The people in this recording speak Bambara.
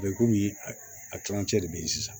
komi a kilancɛ de be yen sisan